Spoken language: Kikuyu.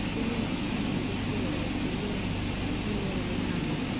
maica-inĩ ma bamĩrĩ kũgerera ũkũria wa mĩmera yamo.